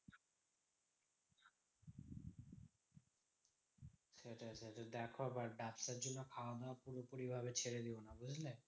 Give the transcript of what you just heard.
সেটাই দেখো আবার ব্যাবসার জন্য খাওয়া দাওয়া পুরোপুরি ভাবে ছেড়ে দিও না, বুঝলে?